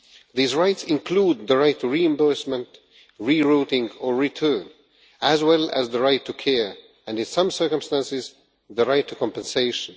These rights include the right to reimbursement, re-routing or return, as well as the right to care and, in some circumstances, the right to compensation.